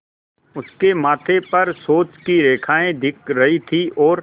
उसके माथे पर सोच की रेखाएँ दिख रही थीं और